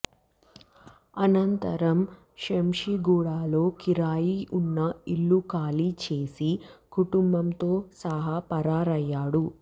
అనంతరం శంషీగూడాలో కిరాయి ఉన్న ఇళ్ళు ఖాళీ చేసి కుటుంబంతో సహా పరారయ్యాడు